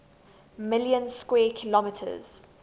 million square kilometers